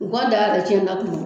U ka daa yɛrɛ cɛn ta kuma